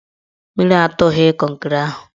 Mmiri atụghị kọnkịrị ahụ